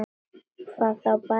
Hvað þá barni.